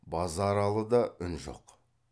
базаралыда үн жоқ